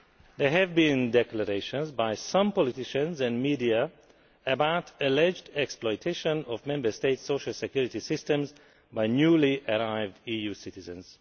There have been declarations by some politicians and the media about alleged exploitation of Member States' social security systems by newly arrived EU citizens.